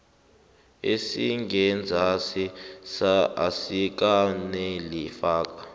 esingenzasi asikaneli faka